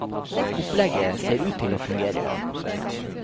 Opplegget ser ut til å fungere.